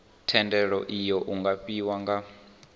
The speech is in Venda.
thendelo iu nga fhiwa nga